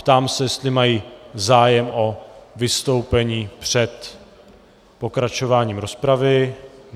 Ptám se, jestli mají zájem o vystoupení před pokračováním rozpravy.